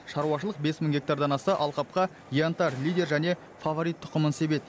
шаруашылық бес мың гектардан аса алқапқа янтарь лидер және фаворит тұқымын себеді